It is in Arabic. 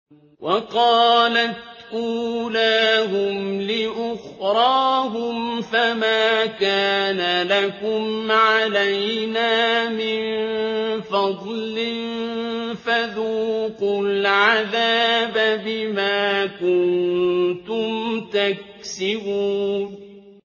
وَقَالَتْ أُولَاهُمْ لِأُخْرَاهُمْ فَمَا كَانَ لَكُمْ عَلَيْنَا مِن فَضْلٍ فَذُوقُوا الْعَذَابَ بِمَا كُنتُمْ تَكْسِبُونَ